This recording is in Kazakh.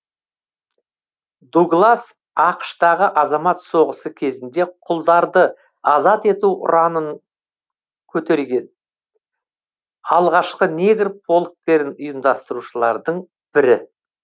дуглас ақш тағы азамат соғысы кезінде құлдарды азат ету ұранын көтерген алғашқы негр полктерін ұйымдастырушылардың бірі